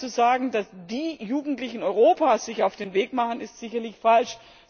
Aber zu sagen, dass die Jugendlichen Europas sich auf den Weg machen, ist sicherlich falsch.